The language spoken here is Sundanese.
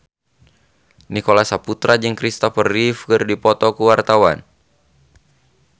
Nicholas Saputra jeung Christopher Reeve keur dipoto ku wartawan